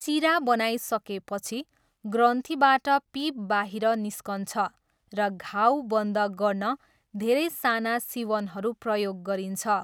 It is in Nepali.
चिरा बनाइसकेपछि, ग्रन्थीबाट पिप बाहिर निस्कन्छ, र घाउ बन्द गर्न धेरै साना सिवनहरू प्रयोग गरिन्छ।